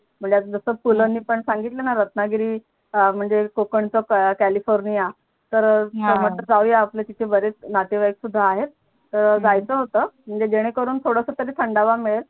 मला जस तुलणी पण सांगितलणा रत्नागिरी म्हणजे कोकणच कॅलिफोर्निया तर हा म्हटल जाऊ या आपले तिथे बरेच नातेवाईक सुद्धा आहे तर जायच होत म्हणजे जेणे करून थोडस थंडावा मिडेल